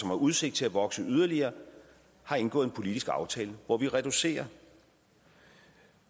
har udsigt til at vokse yderligere har indgået en politisk aftale hvor vi reducerer